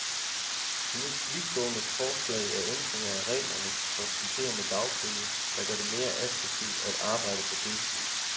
De mest vidtgående forslag er ændringer af reglerne for supplerende dagpenge, der gør det mere attraktivt at arbejde på deltid.